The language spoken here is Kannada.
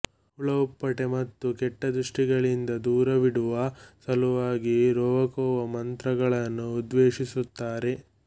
ಹುಳಹುಪ್ಪಟೆ ಮತ್ತು ಕೆಟ್ಟದೃಷ್ಟಿಗಳಿಂದ ದೂರವಿಡುವ ಸಲುವಾಗಿ ರೋವಾಕೋವಾ ಮಂತ್ರಗಳನ್ನು ಉದ್ಘೋಷಿಸುತ್ತಾರೆ